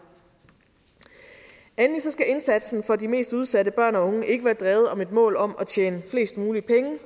endelig skal indsatsen for de mest udsatte børn og unge ikke være drevet af et mål om at tjene flest muligt